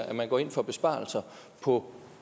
at man går ind for besparelser på